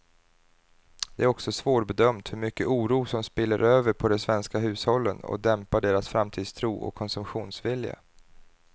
Det är också svårbedömt hur mycket oro som spiller över på de svenska hushållen och dämpar deras framtidstro och konsumtionsvilja.